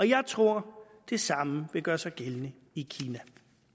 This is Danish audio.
jeg tror det samme vil gøre sig gældende i kina